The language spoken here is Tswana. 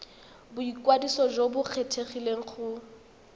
boikwadiso jo bo kgethegileng go